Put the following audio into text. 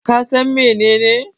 Ka San menene?